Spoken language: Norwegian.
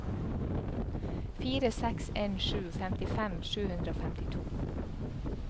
fire seks en sju femtifem sju hundre og femtito